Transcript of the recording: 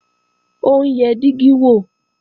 Ó ń yẹ dígí wò